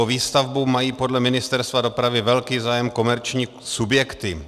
O výstavbu mají podle Ministerstva dopravy velký zájem komerční subjekty.